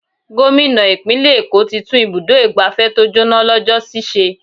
Gómìnà ìpínlè èkó tí tún ibùdó igbàfẹ́ tó jóná lọ́jọ́ sì ṣe.